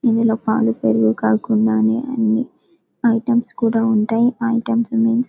ఇందులో పాలు పెరుగు కాకుండా అన్ని ఐటమ్స్ కూడా ఉంటాయి ఐటమ్స్ మేన్స్ --